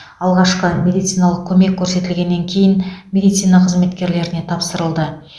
алғашқы медициналық көмек көрсетілгеннен кейін медицина қызметкерлеріне тапсырылды